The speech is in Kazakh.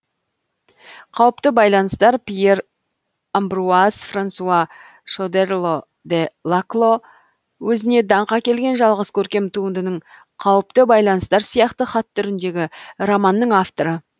қауіпті байланыстар пьер амбруаз франсуа шодерло де лакло өзіне даңқ әкелген жалғыз көркем туындының қауіпті байланыстар сияқты хат түріндегі романның авторы